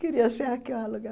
Queria ser arqueóloga.